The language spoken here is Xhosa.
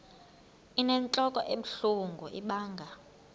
inentlok ebuhlungu ibanga